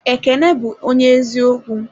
Ekene bu onye eziokwu.